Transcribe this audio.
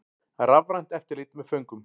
Rafrænt eftirlit með föngum